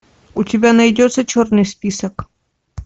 у тебя найдется черный список